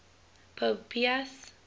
pope pius